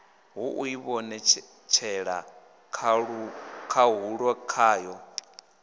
ha u ivhonetshela khahulo kwayo